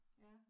Ja